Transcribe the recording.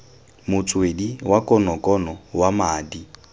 motswedi wa konokono wa madi